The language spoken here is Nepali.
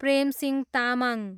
प्रेम सिंह तामाङ